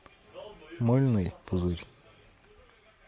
мыльный пузырь